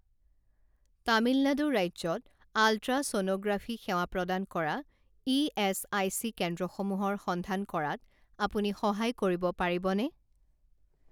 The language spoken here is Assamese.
তামিলনাডু ৰাজ্যত আলট্ৰাছ'ন'গ্ৰাফি সেৱা প্ৰদান কৰা ইএচআইচি কেন্দ্ৰসমূহৰ সন্ধান কৰাত আপুনি সহায় কৰিব পাৰিবনে?